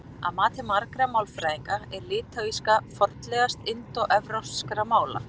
Að mati margra málfræðinga er litháíska fornlegast indóevrópskra mála.